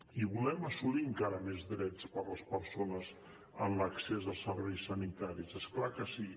i volem assolir encara més drets per a les persones en l’accés als serveis sanitaris és clar que sí